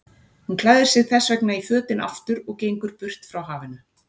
Hún klæðir sig þessvegna í fötin aftur og gengur burt frá hafinu.